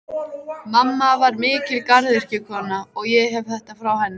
Mamma var mikil garðyrkjukona, og ég hef þetta frá henni.